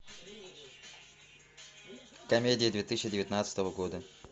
комедии две тысячи девятнадцатого года